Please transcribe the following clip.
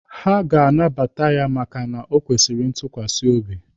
Ha ga-anabata ya maka o kwesịrị ntukwasi obi.